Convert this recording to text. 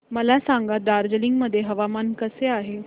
मला सांगा दार्जिलिंग मध्ये हवामान कसे आहे